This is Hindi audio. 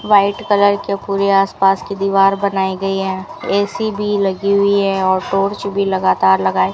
व्हाइट कलर के पूरे आसपास की दीवार बनाई गई है ए_सी भी लगी हुई है और टॉर्च भी लगातार लगाई --